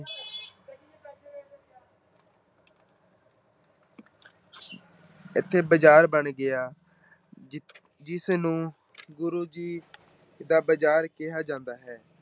ਇੱਥੇ ਬਜ਼ਾਰ ਬਣ ਗਿਆ, ਜਿ ਜਿਸ ਨੂੰ ਗੁਰੂ ਜੀ ਦਾ ਬਜ਼ਾਰ ਕਿਹਾ ਜਾਂਦਾ ਹੈ।